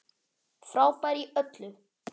Frábær í öllu!